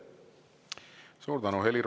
Suur tänu!